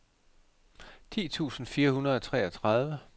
ti tusind fire hundrede og treogtredive